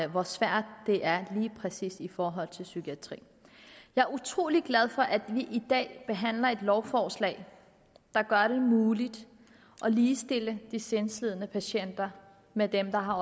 hvor svært det er lige præcis i forhold til psykiatrien jeg er utrolig glad for at vi i dag behandler et lovforslag der gør det muligt at ligestille de sindslidende patienter med dem der har